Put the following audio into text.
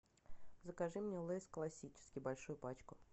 закажи мне лейс классический большую пачку